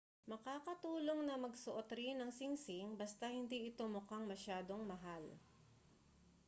makakatulong na magsuot rin ng singsing basta hindi ito mukhang masyadong mahal.